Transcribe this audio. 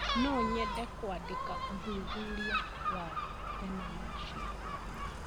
No nyende kũandĩka ũthuthuria wathenema ciakwa.